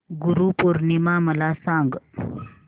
गुरु पौर्णिमा मला सांग